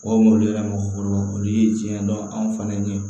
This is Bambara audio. O mɔɔw yɛrɛ mɔgɔkɔrɔbaw olu ye tiɲɛ dɔn anw falen ɲɛ